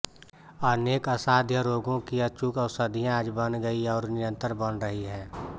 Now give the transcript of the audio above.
अनेक असाध्य रोगों की अचूक ओषधियाँ आज बन गई हैं और निरंतर बन रही हैं